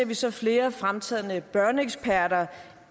vi så flere fremtrædende børneeksperter